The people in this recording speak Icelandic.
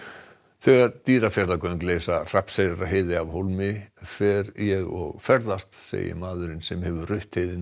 þegar Dýrafjarðargöng leysa Hrafnseyrarheiði af hólmi fer ég og ferðast segir maðurinn sem hefur rutt heiðina